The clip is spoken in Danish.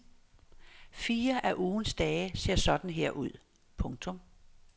Fire af ugens dage ser sådan her ud. punktum